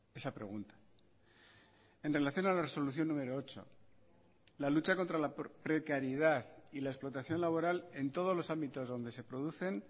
esa pregunta en relación a la resolución número ocho la lucha contra la precariedad y la explotación laboral en todos los ámbitos donde se producen